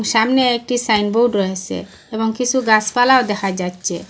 সামনে একটি সাইনবোর্ড রয়েসে এবং কিসু গাসপালাও দেখা যাচ্চে ।